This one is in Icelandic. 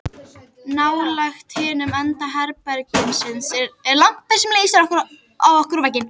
Nálægt hinum enda herbergisins er lampi sem lýsir á okkur og vegginn.